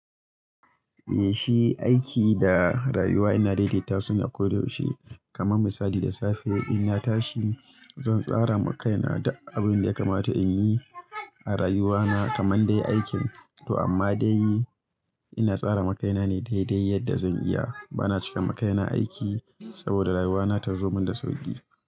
Eh shi aiki da rayuwa ina daidaita su ne koyaushe. Kaman misali da safe ina tashi, zan tsara makaina da abinda ya kamata in yi a rayuwana kaman dai aikin to amma da yi ina tsara makaina ne daidai yadda zan iya. Bana cika makaina aiki saboda rayuwana ta zo man da sauki.